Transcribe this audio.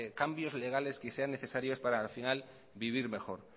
cambios legales que sean necesarios para al final vivir mejor